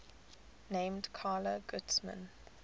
named carla guzman